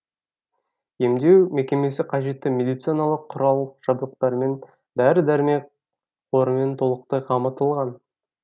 емдеу мекемесі қажетті медициналық құрал жабдықтармен дәрі дәрмек қорымен толықтай қамтылған